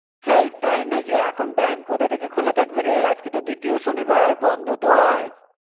হেই তাই নাকি এখন bank কোথাথেকে খুলা থাকবে রে আজকে তো দ্বিতীয় শনিবার বন্ধ তো আজ.